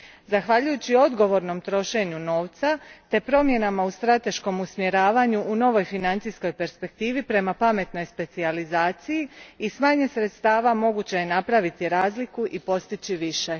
Zahvaljujući odgovornom trošenju novca te promjenama u strateškom usmjeravanju u novoj financijskoj perspektivi prema pametnoj specijalizaciji i s manje sredstava moguće je napraviti razliku i postići više.